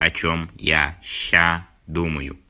о чем я сейчас думаю